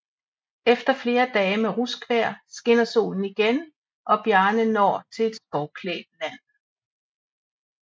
Efter flere dage med ruskvejr skinner solen igen og Bjarne når til et skovklædt land